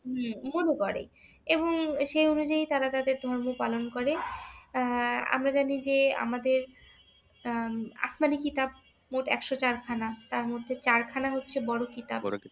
উম মনে করে এবং সে অনুযায়ীই তারা তাদের ধর্ম পালন করে আহ আমরা জানি যে আমাদের আহ আসমানি কিতাব মোট একশ চারখানা। তার মধ্যে চারখানা হচ্ছে বড় কিতাব।